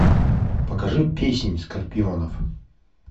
покажи песнь скорпионов